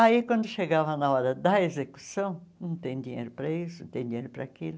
Aí, quando chegava na hora da execução, não tem dinheiro para isso, não tem dinheiro para aquilo.